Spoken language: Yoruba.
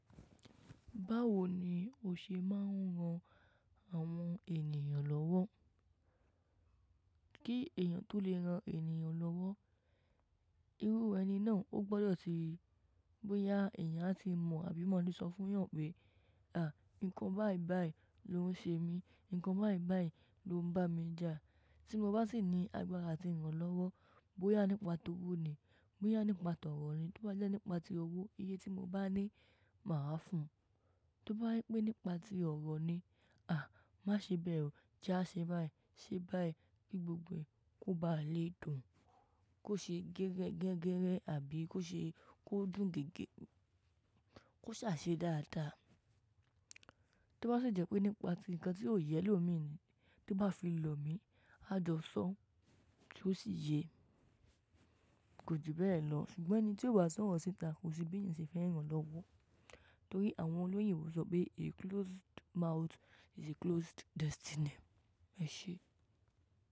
Báwo ni o ṣe máa ń ran àwọn ènìyàn lọ́wọ́? Kí èèyàn tó lè ran èèyàn lọ́wọ́, irú ẹni náà ó gbọdọ̀ ti, bóyá èèyàn á ti mọ̀ àbí mọ̀ léṣọ́ fún yàn pé, à, nǹkan báì báì ló ń ṣe mí, nǹkan báì báì ló ń bá mi jà. Tí mo bá sì ní agbára àti ìran lọ́wọ́, bóyá nípa tó wó ni, bóyá nípa tọ̀rọ̀ ni, tó bá jẹ́ nípa ti owó, iye tí mo bá ní, màá fún un. Tí ó bá jẹ́ pé nípa ti ọ̀rọ̀ ni, à, má ṣe bẹ́ẹ̀ o, jẹ́ á ṣe báì, ṣe báì kí gbogbo ẹ̀ kó ba lè dùn, kó ṣe gẹ́gẹ́rẹ́ àbí kó ṣe kó dùn gidi, kó ṣàa ṣe dáadáa. Tí ó bá sì jẹ́ pé nípa ti nǹkan tí ó yẹ ẹlómíì ni tó bá fi lò mi, á jọ́sọ̀ọ́ tí ó sì yé. Kò jù bẹ́ẹ̀ lọ, ṣùgbọ́n ẹni tí kò bá sọ̀rọ̀ sí ìta kò sí bí èèyàn ṣe fẹ ràn-án lọ́wọ́. Nítorí àwọn olóyìnbó sọ wí pé "a closed mouth is a closed destiny." ẹṣẹ́.